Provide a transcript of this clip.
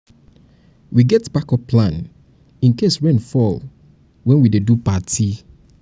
dat wedding wey dem just invite you you go need moni for asoebi o.